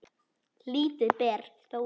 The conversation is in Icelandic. Lítið ber þó á því.